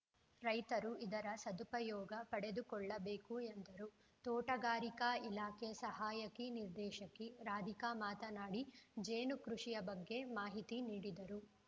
ರೈತರು ಇದರ ಸದುಪಯೋಗ ಪಡೆದುಕೊಳ್ಳಬೇಕು ಎಂದರು ತೋಟಗಾರಿಕಾ ಇಲಾಖೆ ಸಹಾಯಕಿ ನಿರ್ದೇಶಕಿ ರಾಧಿಕಾ ಮಾತನಾಡಿ ಜೇನುಕೃಷಿಯ ಬಗ್ಗೆ ಮಾಹಿತಿ ನೀಡಿದರು